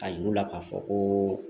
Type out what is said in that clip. A yiru la k'a fɔ koo